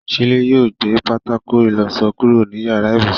Shílé yóò gbé pátákó ìlọṣọ kúrò ní yàrá ibùsùn.